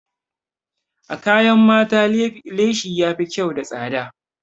A kayan mata leshi yafi kyau da tsada.